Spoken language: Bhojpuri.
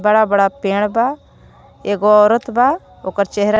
इतना बड़ा पेड़ बा एक गो औरत बा ओकर चेहरा--